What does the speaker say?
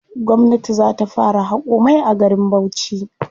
Gwamnati za ta fara haƙo mai a garin Bauchi.